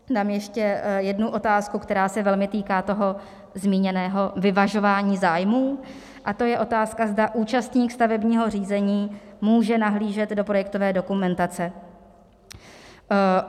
Dám ještě jednu otázku, která se velmi týká toho zmíněného vyvažování zájmů, a to je otázka, zda účastník stavebního řízení může nahlížet do projektové dokumentace.